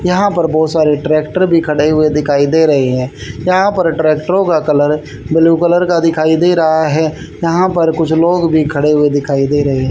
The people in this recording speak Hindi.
यहां पर बहोत सारे ट्रैक्टर भी खड़े हुए दिखाई दे रहे है यहां पर ट्रैक्टरो का कलर ब्लू कलर का दिखाई दे रहा है यहां पर कुछ लोग भी खड़े हुए दिखाई दे रहे--